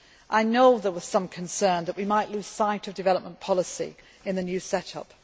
I know there was some concern that we might lose sight of development policy in the new set